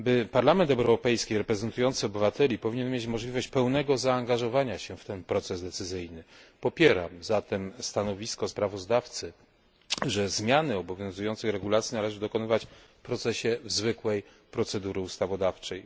Parlament Europejski reprezentujący obywateli powinien mieć możliwość pełnego zaangażowania się w ten proces decyzyjny, popieram zatem stanowisko sprawozdawcy, że zmian obowiązujących regulacji należy dokonywać w procesie zwykłej procedury ustawodawczej.